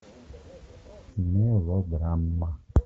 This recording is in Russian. мелодрама